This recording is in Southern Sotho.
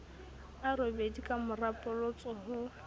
a robedi kamora polotso ho